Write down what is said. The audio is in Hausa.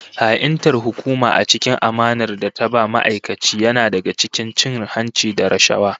Ha'intar hukuma a cikin amanar da ta ba ma'aikaci yana daga cikin cin hanci da rashawa